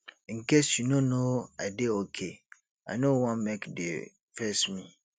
in case you no know i dey okay i no wan make de face me